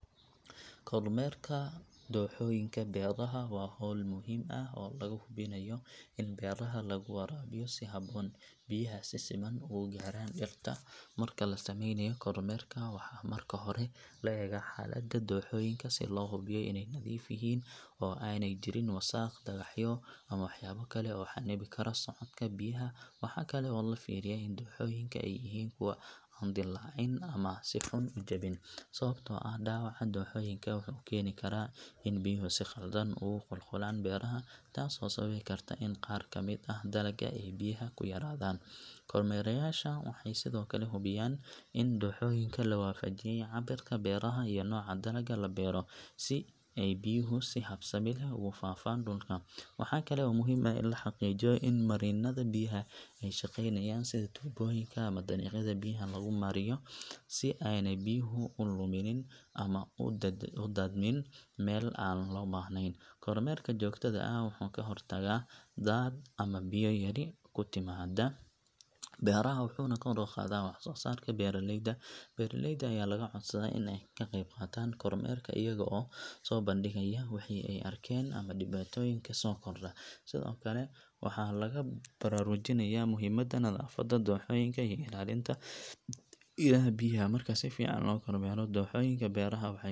Kormeerka dooxooyinka beeraha waa hawl muhiim ah oo lagu hubinayo in beeraha lagu waraabiyo si habboon, biyahana si siman ugu gaaraan dhirta. Marka la sameynayo kormeerka, waxaa marka hore la eegaa xaaladda dooxooyinka si loo hubiyo inay nadiif yihiin oo aanay jirin wasakh, dhagaxyo ama waxyaabo kale oo xannibi kara socodka biyaha. Waxaa kale oo la fiiriyaa in dooxooyinku ay yihiin kuwo aan dillaacin ama si xun u jabin, sababtoo ah dhaawaca dooxooyinka wuxuu keeni karaa in biyuhu si khaldan ugu qulqulaan beeraha, taasoo sababi karta in qaar ka mid ah dalagga ay biyaha ku yaraadaan. Kormeerayaasha waxay sidoo kale hubiyaan in dooxooyinka la waafajiyay cabirka beeraha iyo nooca dalagga la beero, si ay biyuhu si habsami leh ugu faafaan dhulka. Waxa kale oo muhiim ah in la xaqiijiyo in marinnada biyaha ay shaqeynayaan, sida tubooyinka ama dariiqyada biyaha lagu mariyo, si aanay biyuhu u luminin ama u daadamin meel aan loo baahnayn. Kormeerka joogtada ah wuxuu ka hortagaa daadad ama biyo yari ku timaadda beeraha, wuxuuna kor u qaadaa wax-soo-saarka beeraleyda. Beeraleyda ayaa laga codsadaa inay ka qayb qaataan kormeerka iyaga oo soo bandhigaya wixii ay arkeen ama dhibaatooyinka soo kordha. Sidoo kale, waxaa lagu baraarujinayaa muhiimadda nadaafadda dooxooyinka iyo ilaalinta ilaha biyaha. Marka si fiican loo kormeero dooxooyinka beeraha, waxay horseedaa in beeraha la waraabiyo si habboon, dhirtana ay hesho biyo ku filan, taasoo kor u qaadaysa caafimaadka dalagga iyo tayadiisa. Ugu dambeyn, kormeerka dooxooyinka waxay.